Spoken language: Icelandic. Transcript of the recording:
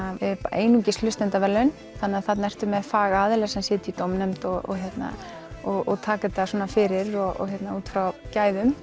einungis hlustendaverðlaun þannig þarna ertu með fagaðila sem sitja í dómnefnd og og taka þetta fyrir út frá gæðum